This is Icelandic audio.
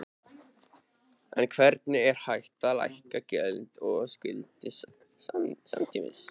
En hvernig er hægt að lækka gjöld og skuldir samtímis?